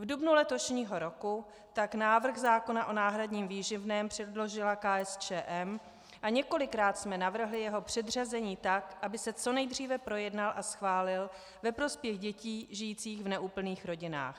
V dubnu letošního roku tak návrh zákona o náhradním výživném předložila KSČM a několikrát jsme navrhli jeho předřazení tak, aby se co nejdříve projednal a schválil ve prospěch dětí žijících v neúplných rodinách.